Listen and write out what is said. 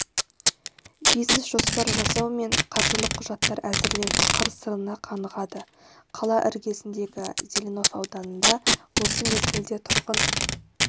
бизнес-жоспар жасау мен қаржылық құжаттар әзірлеудің қыр-сырына қанығады қала іргесіндегі зеленов ауданында осы мезгілде тұрғын